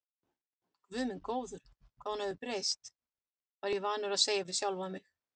Guð minn góður, hvað hún hefur breyst, var ég vanur að segja við sjálfan mig.